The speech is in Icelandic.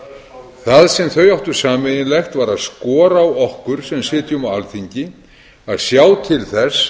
handboltastjarna það sem þau áttu sameiginlegt var að skora á okkur sem sitjum á alþingi að sjá til þess